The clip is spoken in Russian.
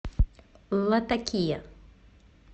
латакия